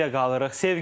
Sevgi ilə qalırıq.